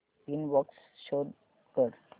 inbox show कर